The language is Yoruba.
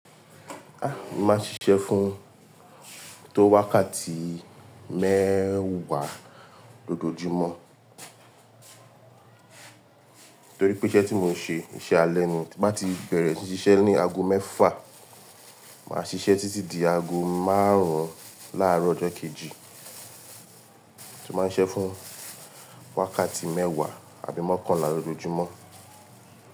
Ah! Mo maa n ṣiṣẹ́ fún tó wákàtí mẹ́wàá lójoojúmọ́, toripe isẹ ti mo n se isẹ alẹ ni tin ba ti bẹ̀rẹ̀ síí ṣiṣẹ́ ní ago mẹ́fà, màá ṣiṣẹ́ títí di ago márùn-ún láàárọ̀ ọjọ́ kejì. Mo máa ń ṣiṣẹ́ fún wákàtí mẹ́wàá àbí mọ́kànlá lójoojúmọ́.